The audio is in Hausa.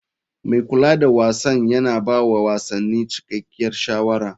Mai kula da wasan yana ba wa wasanni cikakkiyar shawara.